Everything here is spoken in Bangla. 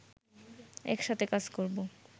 একসাথে কাজ করব